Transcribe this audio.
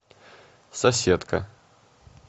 соседка